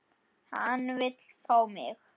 Hann vill fá mig.